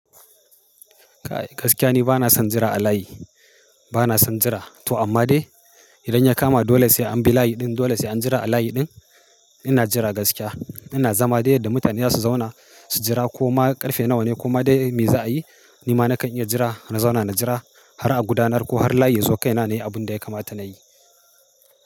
Gaskiya ni bana son jira a layi, bana son jira. To amma dai idan ya kama dole sai an bi layi ɗin, dole sai an jira a layi ɗin, ina jira gaskiya. Ina zama dai yadda mutane za su zauna su jira ko ma ƙarfe nawa ne ko ma dai me za a yi. Ni ma na kan iya jira, na zauna na jira har a gudanar ko har layi ya sauka yana ne abun da ya kamata na yi.